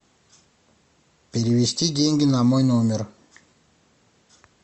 перевести деньги на мой номер